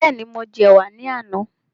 Bẹ́ẹ̀ni, mo jẹ ẹ̀wà ní àná